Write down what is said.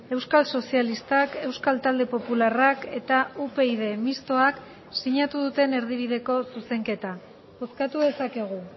euskal sozialistak euskal talde popularrak eta upyd mistoak sinatu duten erdibideko zuzenketa bozkatu dezakegu